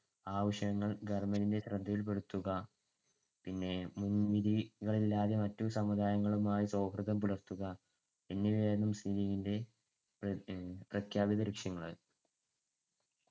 ആവശ്യങ്ങൾ government ന്‍ടെ ശ്രദ്ധയിൽപെടുത്തുക പിന്നെ മുൻവിധികളില്ലാതെ മറ്റു സമുദായങ്ങളുമായി സൗഹൃദം പുലർത്തുക എന്നിവയായിരുന്നു മുസ്ലീം ലീഗിന്‍ടെ പ്രഖ്യാപിത ലക്ഷ്യങ്ങൾ.